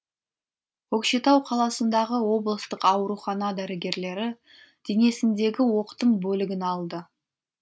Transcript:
көкшетау қаласындағы облыстық аурухана дәрігерлері денесіндегі оқтың бөлігін алды